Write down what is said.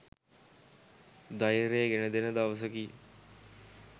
ධෛර්යය ගෙනදෙන දවසකි.